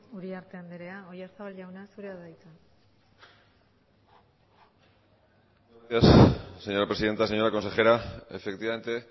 uriarte andrea oyarzabal jauna zurea da hitza gracias señora presidenta señora consejera efectivamente